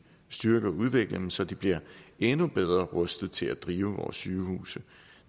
styrke og udvikle dem så de bliver endnu bedre rustet til at drive vores sygehuse